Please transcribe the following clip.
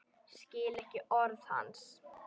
Skil ekki orð hans.